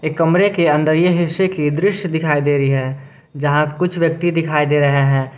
एक कमरे के अंदर ये हिस्से की दृश्य दिखाई दे रही है जहां कुछ व्यक्ति दिखाई दे रहे हैं।